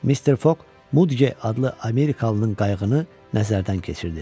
Mister Foq Mudqe adlı Amerikalının qayığını nəzərdən keçirdi.